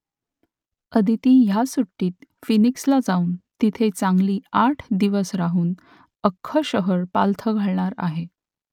आदिती ह्या सुट्टीत फिनिक्सला जाऊन तिथे चांगली आठ दिवस राहून अख्खं शहर पालथं घालणार आहे